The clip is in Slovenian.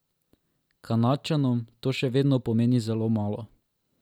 Kanadčanom to še vedno pomeni zelo malo.